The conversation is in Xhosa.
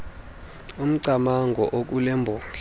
umcamango okule mbongi